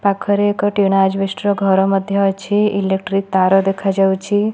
ପାଖରେ ଏକ tin asbestos ଘର ମଧ୍ୟ ଅଛି ଇଲେକ୍ଟ୍ରିାକ ତାର ଦେଖା ଯାଉଛି।